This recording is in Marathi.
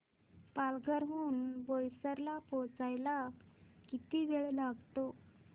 पालघर हून बोईसर ला पोहचायला किती वेळ लागतो